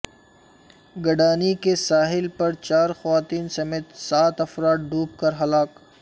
گڈانی کے ساحل پر چار خواتین سمیت سات افراد ڈوب کر ہلاک